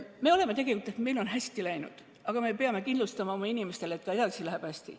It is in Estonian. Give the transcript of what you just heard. Meil on tegelikult hästi läinud, aga me peame kindlustama oma inimestele, et ka edaspidi läheb meil hästi.